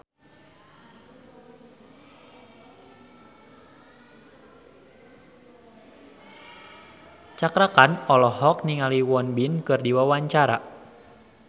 Cakra Khan olohok ningali Won Bin keur diwawancara